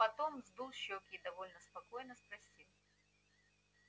потом сдул щеки и довольно спокойно спросил